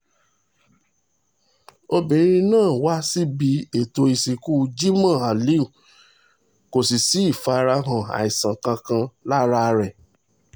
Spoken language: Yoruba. obìnrin náà wà níbi ètò ìsìnkú jimoh ali kò sì sí ìfarahàn àìsàn kankan lára rẹ̀